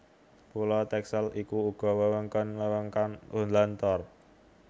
Pulo Texel iku uga wewengkon wewengkon Holland Lor